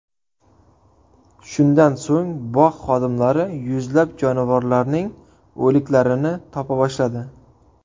Shundan so‘ng bog‘ xodimlari yuzlab jonivorlarning o‘liklarini topa boshladi.